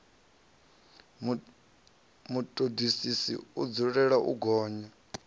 vhutodisisi i dzulela u gonya